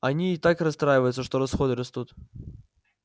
она и так расстраивается что расходы растут